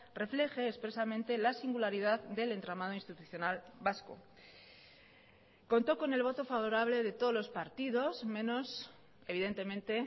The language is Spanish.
refleje expresamente la singularidad del entramado institucional vasco contó con el voto favorable de todos los partidos menos evidentemente